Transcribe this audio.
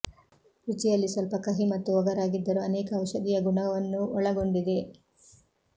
ರುಚಿಯಲ್ಲಿ ಸ್ವಲ್ಪ ಕಹಿ ಮತ್ತು ಒಗರಾಗಿದ್ದರು ಅನೇಕ ಔಷಧೀಯ ಗುಣವನ್ನು ಒಳಗೊಂಡಿದೆ